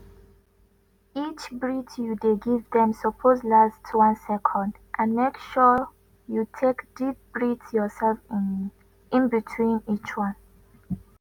each breath you dey give dem suppose last 1 second and make sure you take deep breath yourself in between each one.